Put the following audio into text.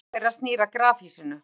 Framhlið þeirra snýr að grafhýsinu.